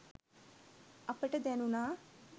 අපට දැණුනා.